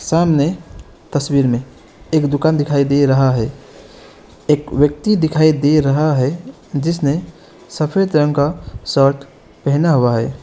सामने तस्वीर में एक दुकान दिखाई दे रहा है एक व्यक्ति दिखाई दे रहा है जिसने सफेद रंग का शर्ट पहना हुआ है।